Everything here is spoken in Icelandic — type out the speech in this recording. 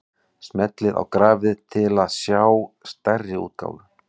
Smellið á grafið til að sjá stærri útgáfu.